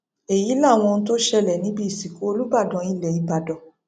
èyí làwọn ohun tó ṣẹlẹ níbi ìsìnkú olùbàdàn ilẹ ìbàdàn